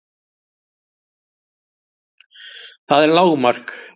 Það er lágmark!